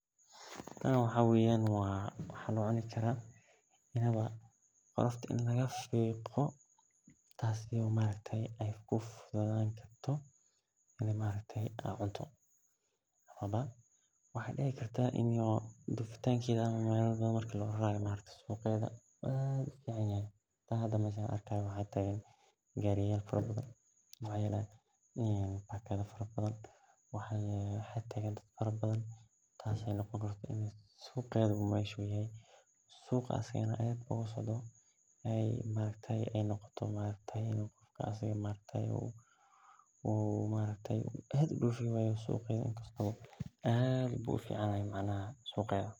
Tan waxa weyan waxan u cuni karaa marki qudharta lafiqo waxaa dici kartaa hada waa tagan gariya fara badan suq iyadana maaragtaye aad bu ufican yahay suqeda anigana aad ban oga hela tas waye waxan arki hayo.